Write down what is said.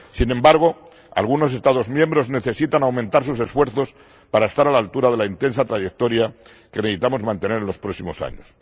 Sin embargo, algunos Estados miembros necesitan aumentar sus esfuerzos para estar a la altura de la intensa trayectoria que necesitamos mantener en los próximos años.